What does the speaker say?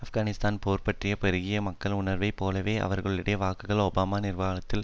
ஆப்கானிஸ்தான் போர் பற்றி பெருகிய மக்கள் உணர்வை போலவே அவர்களுடைய வாக்குகள் ஒபாமா நிர்வாகத்தால்